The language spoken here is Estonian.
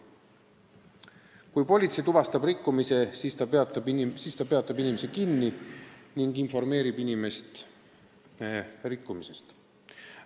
Kui politsei tuvastab rikkumise, siis ta peab inimese kinni ning juhib tema tähelepanu rikkumisele.